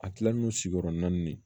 A kilalen don sigiyɔrɔ naani